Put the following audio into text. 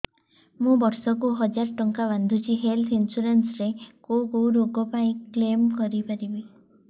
ମୁଁ ବର୍ଷ କୁ ହଜାର ଟଙ୍କା ବାନ୍ଧୁଛି ହେଲ୍ଥ ଇନ୍ସୁରାନ୍ସ ରେ କୋଉ କୋଉ ରୋଗ ପାଇଁ କ୍ଳେମ କରିପାରିବି